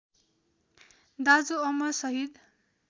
दाजु अमर शहीद